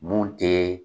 Mun tɛ